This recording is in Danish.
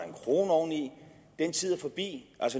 en kroner oveni den tid er forbi